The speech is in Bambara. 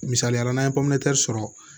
Misaliya la n'an ye sɔrɔ